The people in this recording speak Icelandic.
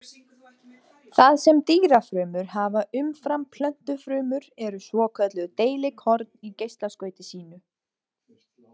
Það sem dýrafrumur hafa umfram plöntufrumur eru svokölluð deilikorn í geislaskauti sínu.